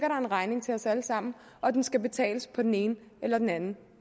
en regning til os alle sammen og den skal betales på den ene eller den anden